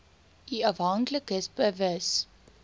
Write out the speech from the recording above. u afhanklikes bewus